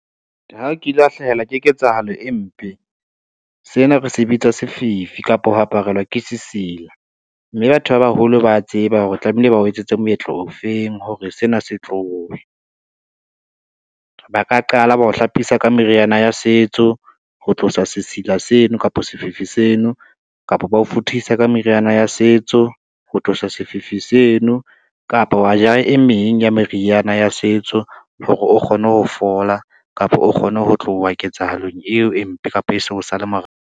Ha o kile wa hlahelwa ke ketsahalo e mpe, sena re se bitsa sefifi kapa ho aparelwe ke sesila, mme batho ba baholo ba tseba hore tlamehile ba o etsetse moetlo o feng hore sena se tlowe. Ba ka qala bao hlapisa ka meriana ya setso ho tlosa sesila seno kapa sefifi seno, kapa ba o futhisa ka meriana ya setso ho tlosa sefifi seno kapa wa ja, e meng ya meriana ya setso hore o kgone ho fola kapa o kgone ho tloha ketsahalong eo e mpe kapa e so o sale .